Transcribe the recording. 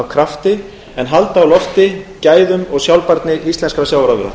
krafti en halda á lofti gæðum og sjálfbærni íslenskra sjávarafurða